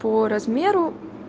по размеру